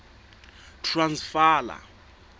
transvala